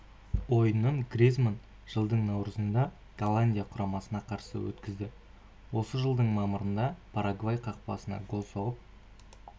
ойынын гризманн жылдың наурызында голландия құрамасына қарсы өткізді осы жылдың мамырында парагвай қақпасына гол соғып